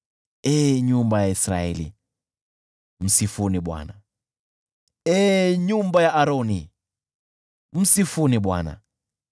Ee nyumba ya Israeli, msifuni Bwana ; ee nyumba ya Aroni, msifuni Bwana ;